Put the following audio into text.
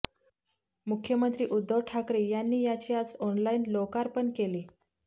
मुख्यमंत्री उध्दव ठाकरे यांनी याचे आज ऑनलाईन लोकार्पण केले